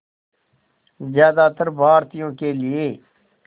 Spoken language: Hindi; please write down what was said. ज़्यादातर भारतीयों के लिए